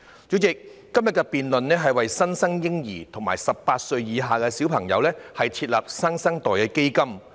主席，今天的辯論議題是促請政府為新生嬰兒及18歲以下兒童設立"新生代基金"。